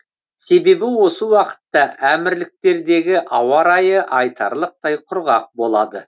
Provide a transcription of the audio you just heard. себебі осы уақытта әмірліктердегі ауа райы айтарлықтай құрғақ болады